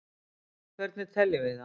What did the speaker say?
hvernig teljum við það